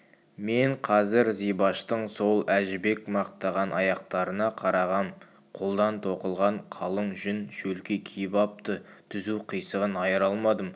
мен қазір зибаштың сол әжібек мақтаған аяқтарына қарағам қолдан тоқылған қалың жүн шөлки киіп апты тұзу-қисығын айыра алмадым